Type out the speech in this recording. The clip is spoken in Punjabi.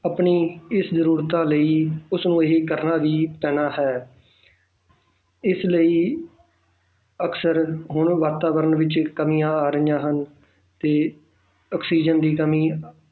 ਆਪਣੀ ਇਸ ਜ਼ਰੂਰਤਾਂ ਲਈ ਉਸਨੂੰ ਇਹ ਕਰਨਾ ਵੀ ਪੈਣਾ ਹੈ ਇਸ ਲਈ ਅਕਸਰ ਹੁਣ ਵਾਤਾਵਰਨ ਵਿੱਚ ਕਮੀਆਂ ਆ ਰਹੀਆਂ ਹਨ ਤੇ ਆਕਸੀਜਨ ਦੀ ਕਮੀ